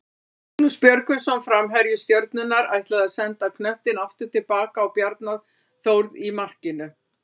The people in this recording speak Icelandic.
Magnús Björgvinsson framherji Stjörnunnar ætlaði að senda knöttinn aftur tilbaka á Bjarna Þórð í markinu.